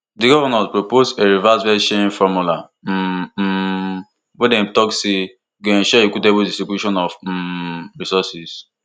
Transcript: di govnors propose a revised vatsharing formula um um wey dem tok say go ensure equitable distribution of um resources